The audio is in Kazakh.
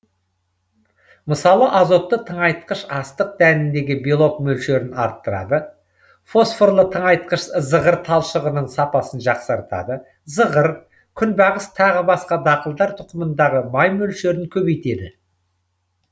мысалы азотты тыңайтқыш астық дәніндегі белок мөлшерін арттырады фосфорлы тыңайтқыш зығыр талшығының сапасын жақсартады зығыр күнбағыс тағы басқа дақылдар тұқымындағы май мөлшерін көбейтеді